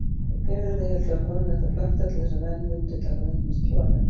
Geimverurnar héldu að fáninn ætti að blakta til þess að menn mundu taka myndirnar trúanlegar.